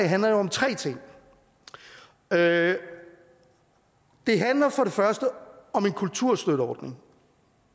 handler om tre ting det det handler for det første om en kulturstøtteordning